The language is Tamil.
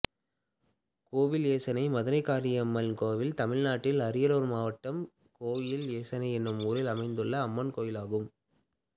கோவில் எசனை மதுரகாளியம்மன் கோயில் தமிழ்நாட்டில் அரியலூர் மாவட்டம் கோவில் எசனை என்னும் ஊரில் அமைந்துள்ள அம்மன் கோயிலாகும்